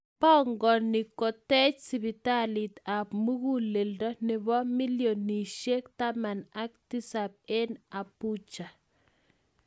Pongoni kotech sipitalit apmuguleldo nepo milionishek $17 en Abuja.